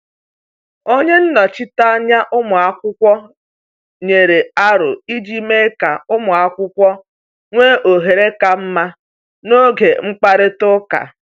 Onye nnọchiteanya ụmụ akwụkwọ nyere aro iji mee ka ụmụ akwụkwọ nwee ohere ka mma n’oge mkparịta ụka.